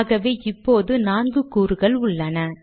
ஆகவே இப்போது நான்கு கூறுகள் உள்ளன